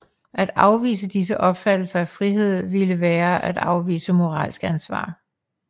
At afvise disse opfattelser af frihed ville være at afvise moralsk ansvar